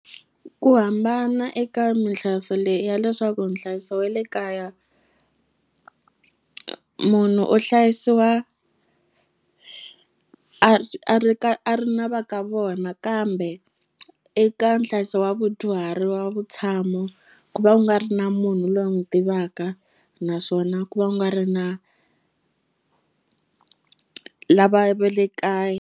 Ku hambana eka minhlayiso leyi ya leswaku nhlayiso we le kaya munhu u hlayisiwa a ri a ri ka a ri na va ka vona kambe eka nhlayiso wa vudyuhari wa vutshamo ku va ku nga ri na munhu loyi n'wu tivaka naswona ku va ku nga ri na lavaya va le kaya.